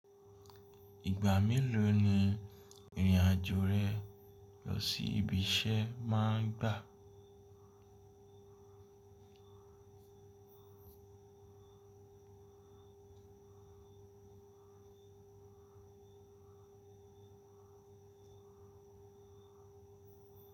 Ìgbà mélòó ni ìrìn-àjò rẹ lọ sí ibi iṣẹ́ máa ń gbà?